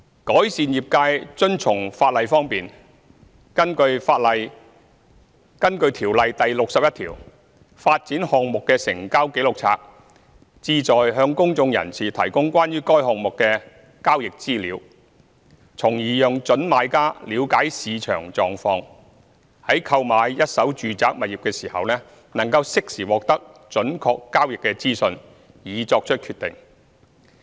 改善業界遵從法例方面，根據《條例》第61條，發展項目的成交紀錄冊旨在向公眾人士提供關於該項目的交易資料，從而讓準買家了解市場狀況，在購買一手住宅物業時能適時獲得準確交易資訊，以作出決定。